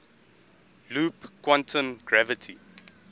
loop quantum gravity